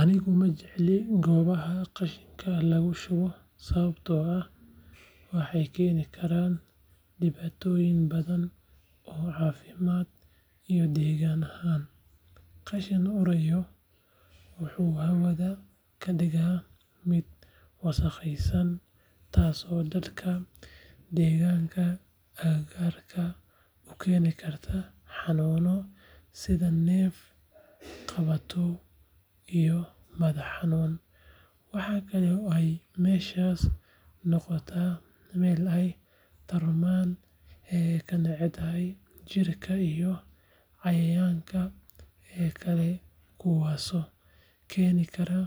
Anigu ma jecli goobaha qashinka lagu shubo sababtoo ah waxay keeni karaan dhibaatooyin badan oo caafimaad iyo deegaanka ah. Qashin uraya wuxuu hawada ka dhiga mid wasakhaysan taasoo dadka deggan agagaarka u keeni karta xanuuno sida neef-qabatow iyo madax-xanuun. Waxa kale oo ay meeshaas noqotaa meel ay tarmaan kaneecada, jiirka iyo cayayaanka kale kuwaasoo keeni kara